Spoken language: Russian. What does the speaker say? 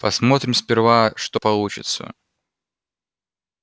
посмотрим сперва что получится